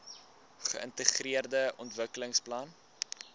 geintegreerde ontwikkelingsplan idp